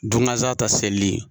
Don gasan ta selili.